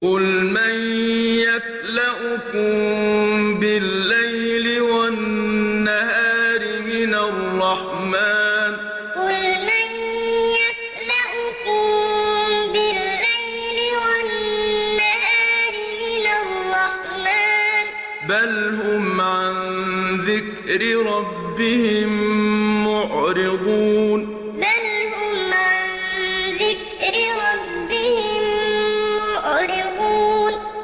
قُلْ مَن يَكْلَؤُكُم بِاللَّيْلِ وَالنَّهَارِ مِنَ الرَّحْمَٰنِ ۗ بَلْ هُمْ عَن ذِكْرِ رَبِّهِم مُّعْرِضُونَ قُلْ مَن يَكْلَؤُكُم بِاللَّيْلِ وَالنَّهَارِ مِنَ الرَّحْمَٰنِ ۗ بَلْ هُمْ عَن ذِكْرِ رَبِّهِم مُّعْرِضُونَ